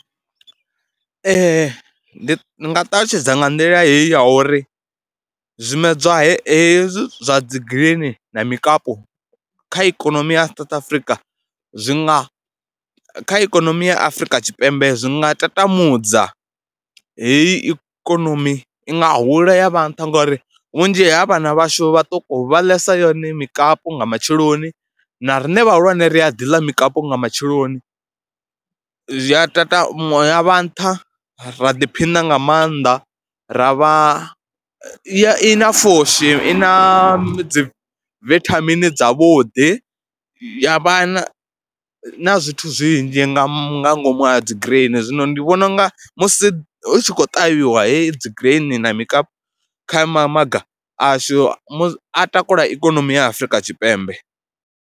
Ee ndi nga ṱalutshedza nga nḓila heyi ya uri zwimedzwa he hezwi zwa dzi green na mikapu kha ikonomi ya South Africa zwi nga, kha ikonomi ya Afrika Tshipembe zwi nga tambudza heyi ikonomi i nga hula ya vha nṱha ngori vhunzhi ha vhana vhashu vhaṱuku vha ḽesa yone mikapu nga matsheloni na riṋe vhahulwane ri a ḓi ḽa mukapu nga matsheloni. Zwi a ṱaṱa ya vha nṱha, ra ḓiphina nga maanḓa, ra vha, i na pfhushi, i na dzi vithamini dzavhuḓi. Ya vhana na zwithu zwinzhi nga nga ngomu ha dzi green, zwino ndi vhona u nga musi hu tshi khou ṱavhiwa heyi dzi green na mikapu kha mamaga ashu mu, a takula ikonomi ya Afrika Tshipembe.